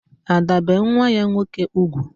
Ada bee nwa ya nwoke ugwu